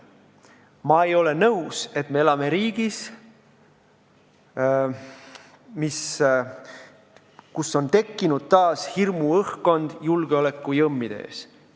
Ma ei ole nõus, et me elame riigis, kus on taas tekkinud hirmuõhkkond, hirm julgeolekujõmmide ees.